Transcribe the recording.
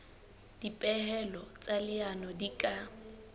dipehelo tsa leano di ka